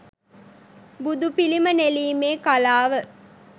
බුදුපිළිම නෙළීමේ කලාව